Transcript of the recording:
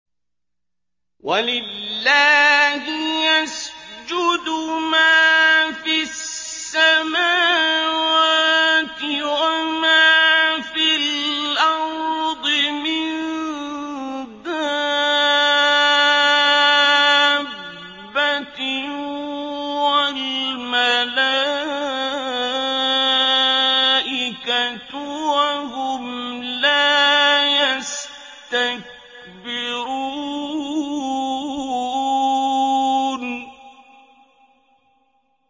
وَلِلَّهِ يَسْجُدُ مَا فِي السَّمَاوَاتِ وَمَا فِي الْأَرْضِ مِن دَابَّةٍ وَالْمَلَائِكَةُ وَهُمْ لَا يَسْتَكْبِرُونَ